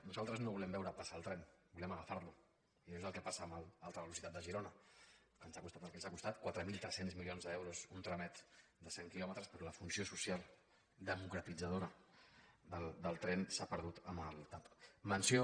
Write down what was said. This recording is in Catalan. nosaltres no volem veure passar el tren volem agafar lo i no és el que passa amb l’alta velocitat de girona que ens ha costat el que ens ha costat quatre mil tres cents milions d’euros un tramet de cent quilòmetres però la funció social democratitzadora del tren s’ha perdut amb el tav